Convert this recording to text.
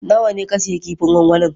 Nawa ne ka sayi kifin gwangwanin?